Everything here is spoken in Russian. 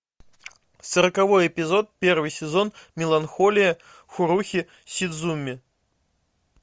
сороковой эпизод первый сезон меланхолия харухи судзумии